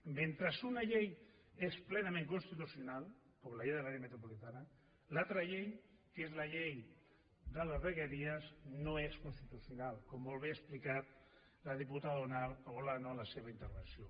mentre una llei és plenament constitucional com la llei de l’àrea metropolitana l’altra llei que és la llei de les vegueries no és constitucional com molt bé ha explicat la diputada olano en la seva intervenció